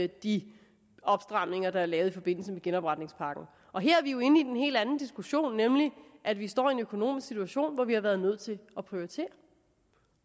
de stramninger der er lavet i forbindelse med genopretningspakken her er vi jo inde i en helt anden diskussion nemlig at vi står i en økonomisk situation hvor vi har været nødt til at prioritere